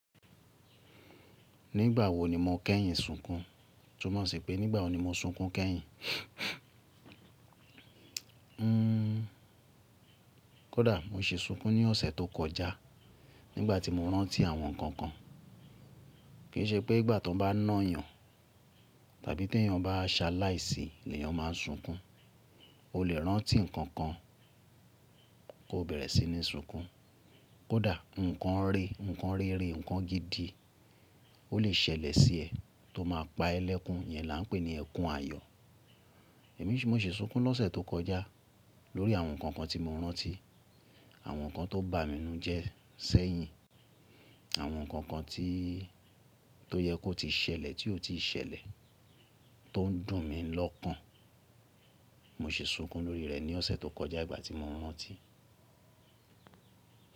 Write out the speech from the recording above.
Nígbà wo ni mo kẹ́yìn sunkún? Túnmọ̀ sí pé nígbà wo ni mo sunkún kẹ́yìn? Hmm. Kódà mo se sunkún ní ọ̀sẹ̀ tó kọjá nígbà tí mo rántí àwọn nǹkan kan. Kì í ṣe pé ìgbà tó bá nà yàn tàbí tí èèyàn bá a ṣe aláìsí ni èèyàn má n sunkún. O lè rántí nǹkan kan kó bẹ̀rẹ̀ sí ní sunkún. Kódà nǹkan re, nǹkan rere, nǹkan gidi ó lè ṣẹlẹ̀ sí ẹ tó máa pa ẹ lẹ́kún, yen là ń pè ní ẹkún ayọ̀. Èmi sì mo se sunkún lọ́sẹ̀ tó kọjá lórí àwọn nǹkan kan tí mo rántí, àwọn nǹkan tó bá mi nu jẹ sẹ́yìn, àwọn nǹkan kan tí, tó yẹ kó ti ṣẹlẹ̀ tí ó ti ṣẹlẹ̀ tó n dùn mí lọ́kàn. Mo se sunkún lórí rẹ̀ ní ọ̀sẹ̀ tó kọjá ìgbà tí mo rántí.